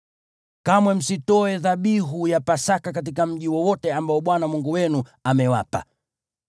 Kamwe msitoe dhabihu ya Pasaka katika mji wowote ambao Bwana Mungu wenu amewapa,